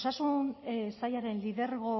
osasun sailaren lidergo